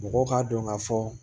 Mɔgɔw k'a dɔn ka fɔ